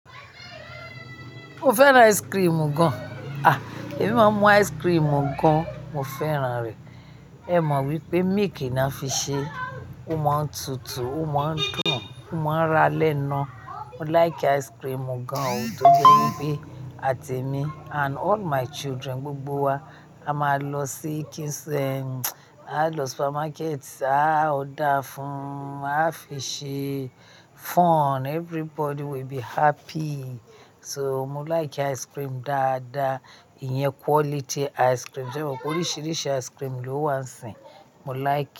Mo fẹ́ra ice cream gan. A! Èmi máa ń mu ice cream gan, mo fẹ́ran rẹ̀. Ẹ mọ̀ wípé milk ni wón fi ṣe, ó máa ń tutù, ó máa ń dùn, ó máa ń rá lénu. Mo like ice cream gan o, tó jẹ́ pé àti èmi and all my children, gbogbo wa, a máa lọ sí Kings, a máa lọ supermarket, a ó dáa fún, a fi ṣe fun, everybody will be happy. So mo like ice cream dáadáa, ìyẹn quality ice cream. Ṣé o mọ̀ pé oríṣìíríṣìí ice cream ló wà síìín? Mo like e.